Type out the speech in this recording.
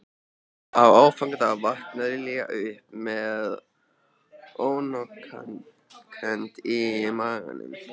Á aðfangadag vaknaði Lilla upp með ónotakennd í maganum.